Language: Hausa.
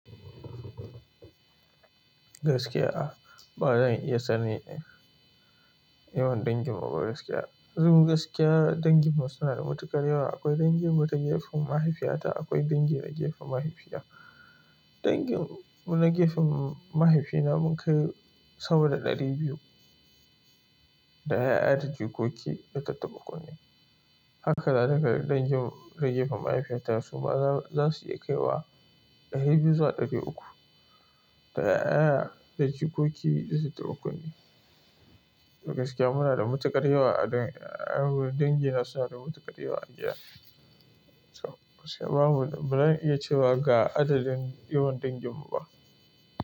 Gaskiya, ba zan iya sanin yawan dangin mu ba gaskiya. Don gaskiya dangin mu suna da matuƙar yawa. Akwai dangin mu ta gefen mahaifiyata, akwai dangin na gefen mahaifina. Dangin na gefen mahaifina mun kai sama da ɗari biyu, da yaya da jikoki da tattaba kunne. Haka ma dangi na dangin ta gefen mahaifiyata suma za su iya kai wa ɗari biyu za ɗari uku, da yaya da jikoki zasu kai dari bakwai ne. Gaskiya muna da matuƙar yawa a dangin, dangina suna da matuƙar yawa a gida. To ba zamu iya cewa ga adadin yawan dangin mu ba.